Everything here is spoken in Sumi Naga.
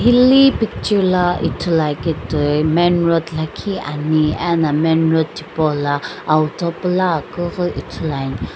hi picture la ithulua ke toi main road lakhi ani ena main road tipau la auto pula akeughi ithuluani.